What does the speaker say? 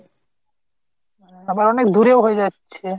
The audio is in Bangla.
আবার অনেক দূরে ও হয়ে যাচ্ছে